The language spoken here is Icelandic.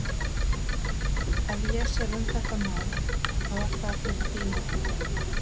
Ef ég sem um þetta mál, þá er það fyrir þín orð.